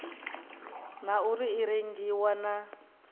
na uri i rengiwa na